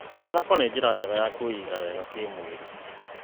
Mathako nĩ njĩra njega ya kwĩiga wega kĩmwĩrĩ.